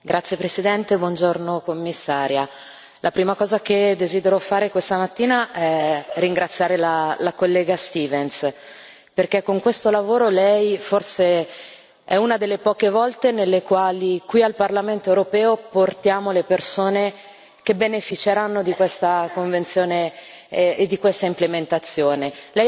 Signor Presidente, onorevoli colleghi, signora Commissario, la prima cosa che desidero fare questa mattina è ringraziare la collega Stevens, perché con questo lavoro lei è una delle poche volte nelle quali, qui al Parlamento europeo, portiamo le persone che beneficeranno di questa Convenzione e di questa implementazione.